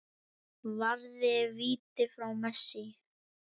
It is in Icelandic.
Varði víti frá Messi.